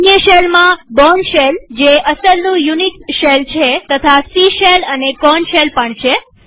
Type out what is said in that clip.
અન્ય શેલમાં Bourne shell જે અસલનું યુનિક્સ શેલ છે તથા સી શેલ અને કોર્ન શેલ છે